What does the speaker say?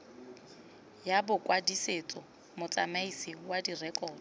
ya bokwadisetso motsamaisi wa direkoto